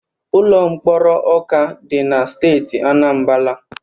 Ụlọ mkpọrọ Ọka dị na Steeti Anambala.